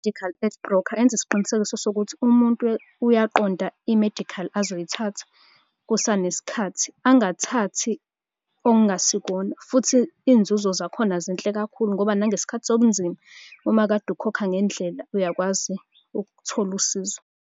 I-medical aid broker yenza isiqinisekiso sokuthi umuntu uyaqonda i-medical, azoyithatha kusanesikhathi. Angathathi okungasikhona, futhi iy'nzuzo zakhona zinhle kakhulu ngoba nangesikhathi sobunzima uma kade ukhokha ngendlela, uyakwazi ukuthola usizo.